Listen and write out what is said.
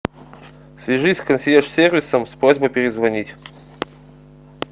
свяжись с консьерж сервисом с просьбой перезвонить